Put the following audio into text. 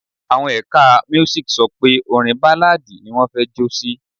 Àwọn ẹ̀ka Music sọ pé orin Báláadì ni wọn fẹ́ jó sí.